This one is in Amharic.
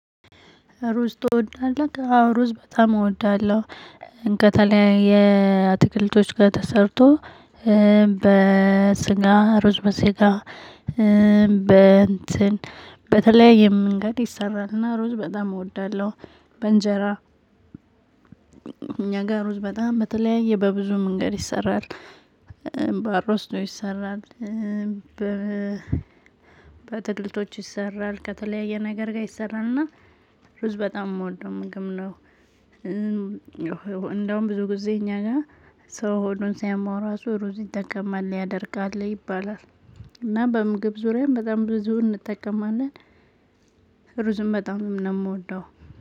ሩዝ ትወዳለህ አዎ ሩዝ በጣም እወዳለሁ ከተለያየ አትክልቶች ጋር ተሰርቶ በስጋ ሩዝ በስጋ በእንትን በተለይ የምንገድ ይሰራልና ሩዝ በጣም እወዳለሁ። በእንጀራ እኛ ጋር ውስጥ በጣም በተለያየ በብዙ መንገድ ይሰራል። ባሮስቶ ይሰራል። በትልቶች ይሰራል ከተለያየ ነገር ጋር ይሰራልና ሩዝ በጣም የምወደው ምግብ ነው። እንደውም ብዙ ጊዜ እኛ ጋር ሰው ሆዱን ሳያማው ራሱ ሩዝ ይጠቀማል ያደርጋል ይባላል። እና በምግብ ዙሪያም በጣም ብዙ እንጠቀማለን። ሩዝም በጣም ነው የምወደው።